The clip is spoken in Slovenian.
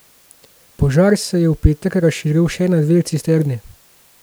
Požar se je v petek razširil še na dve cisterni.